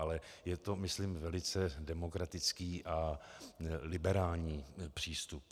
Ale je to myslím velice demokratický a liberální přístup.